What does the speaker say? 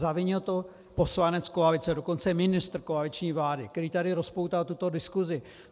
Zavinil to poslanec koalice, dokonce ministr koaliční vlády, který tady rozpoutal tuto diskusi.